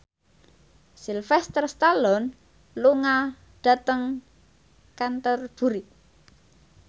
Sylvester Stallone lunga dhateng Canterbury